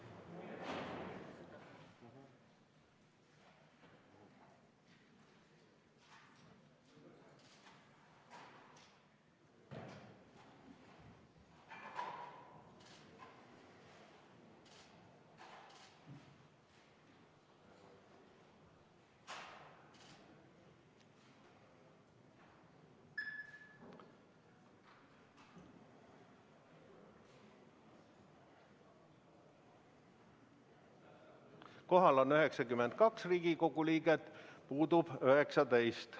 Kohal on 92 Riigikogu liiget, puudub 19.